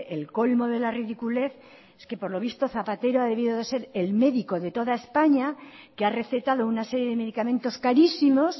el colmo de la ridiculez que por lo visto zapatero ha debido de ser el médico de toda españa que ha recetado una serie de medicamentos carísimos